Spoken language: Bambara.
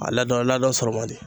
A ladɔn ladɔn sɔrɔ man di.